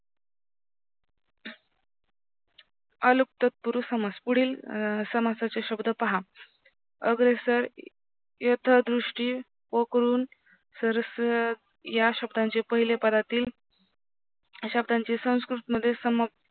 अलुक तत्पुरुष समास पुढील समासाचे पहा अग्रेसर यथादृष्टी या शब्दांचे पहिले पदातील अश्याचे संस्कृत समाप्त